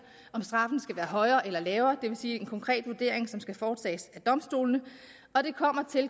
om straffen skal være højere eller lavere det vil sige er en konkret vurdering som skal foretages af domstolene og det kommer